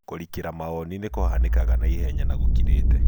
Kũrikĩra maonĩ nĩkũhanĩkaga naihenya na gũkirĩte.